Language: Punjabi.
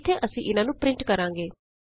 ਇਥੇ ਅਸੀਂ ਇਹਨਾਂ ਨੂੰ ਪਰਿੰਟ ਕਰਾਂਗੇ